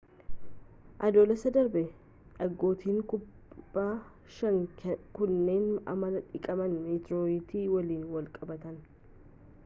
adoolessa darbe dhagootni kudha shan kunneen amala dhiqama meeteorayitii waliin wal qabatan